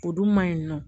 O dun ma ɲi nɔ